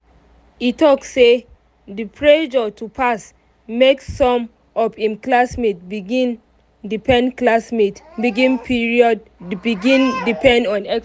e talk say the pressure to pass make some of im classmates begin depend classmates begin depend on expo.